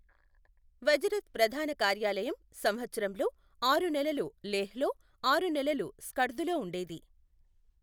వజరత్ ప్రధాన కార్యాలయం సంవత్సరంలో ఆరు నెలలు లేహ్ లో, ఆరు నెలలు స్కర్దులో ఉండేది.